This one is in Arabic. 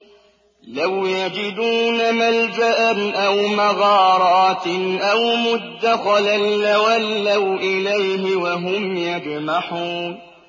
لَوْ يَجِدُونَ مَلْجَأً أَوْ مَغَارَاتٍ أَوْ مُدَّخَلًا لَّوَلَّوْا إِلَيْهِ وَهُمْ يَجْمَحُونَ